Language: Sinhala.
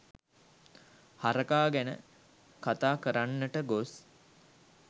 හරකා ගැන කතා කරන්නට ගොස්